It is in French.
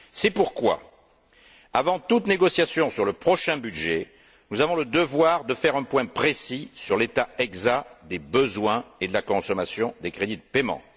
C'est pourquoi, avant toute négociation sur le prochain budget, nous avons le devoir de faire un point précis sur l'état exact des besoins et de la consommation des crédits de paiement.